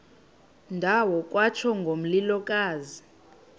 ndawo kwatsho ngomlilokazi